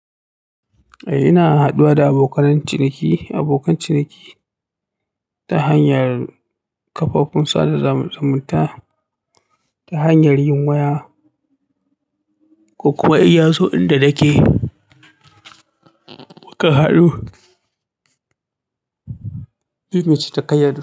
Eh ina haduwa da abokanan ciniki, abokan ciniki ta hanyar kafofin sada zumunta, ta hanyar yin waya ko kuma in yazo inda da nake mukan haɗu mu ceta kayan.